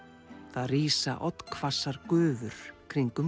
það rísa oddhvassar gufur kringum